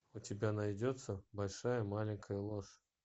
у тебя найдется большая маленькая ложь